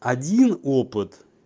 один опыт